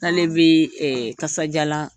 K'ale bɛ kasajalan